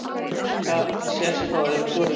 Aska sést þó öðru hvoru